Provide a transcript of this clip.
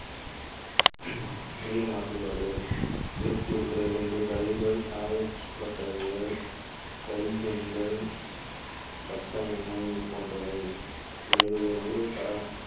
நீர் மாசுபாடு கொண்டு கழிவுகள் சாயப்பட்டறைகள் glycine கள் கச்சா எண்ணெய் போன்றவை விளைவுகள் நிறைவு தரம்